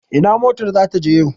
Ina motar za ta je yau?